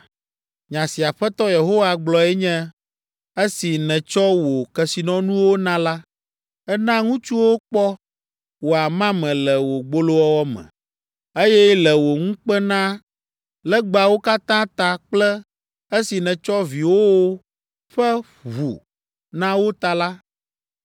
Nya si Aƒetɔ Yehowa gblɔe nye, ‘Esi nètsɔ wò kesinɔnuwo na la, èna ŋutsuwo kpɔ wò amame le wò gbolowɔwɔ me, eye le wò ŋukpenalegbawo katã ta kple esi nètsɔ viwòwo ƒe ʋu na wo ta la,